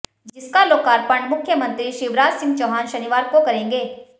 जिसका लोकार्पण मुख्यमंत्री शिवराज सिंह चौहान शनिवार को करेंगे